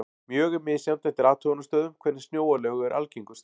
Mjög er misjafnt eftir athugunarstöðvum hvernig snjóalög eru algengust.